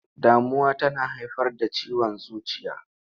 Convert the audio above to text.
Damuwa tana haifar da ciwon zuciya.